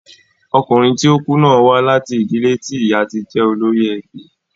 Ọkùnrin tí ó kú náà wá láti ìdílé tí ìyá ti jẹ́ olórí ẹbí.